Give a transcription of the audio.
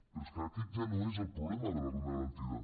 però és que aquest ja no és el problema de la renda garantida